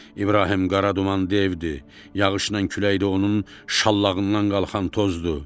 İbrahim Qara Duman devdir, yağışla külək də onun şallağından qalxan tozdur.